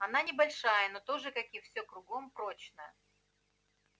она небольшая но тоже как и всё кругом прочная